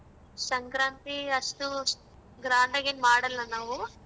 ಸಂಕ್ರಾಂತಿ ಅಷ್ಟು grand ಆಗ್ ಏನ್ ಮಾಡಲ್ಲ ನಾವೂ.